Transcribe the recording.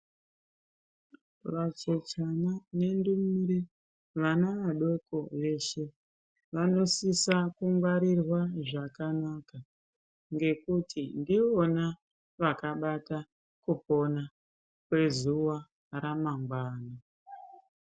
Vacheche nendumure, vana vadoko veshe vanosisa kungwarirwa zvakanaka nekuti ndivona vakabata kupona kwezuwa ramangwani.